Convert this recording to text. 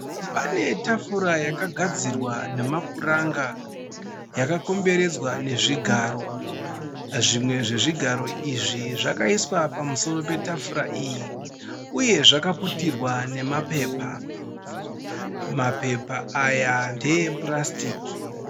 Pane tafura yakagadzirwa namapuranga yakakomberedzwa nezvigaro, zvimwe zvezvigaro izvi zvakaiswa pamusoro petafura iyi uye zvakaputirwa nemapepa, mapepa aya nde epurastiki.